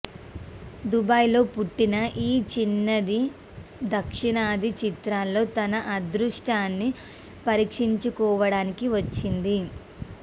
దుబాయ్లో పుట్టిన ఈ చిన్నది దక్షిణాది చిత్రాల్లో తన అదృష్టాన్ని పరీక్షించుకోవడానికి వచ్చింది